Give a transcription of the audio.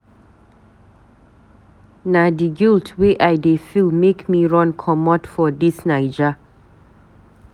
Na di guilt wey I dey feel make me run comot for dis Naija.